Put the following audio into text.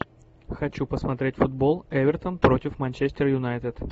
хочу посмотреть футбол эвертон против манчестер юнайтед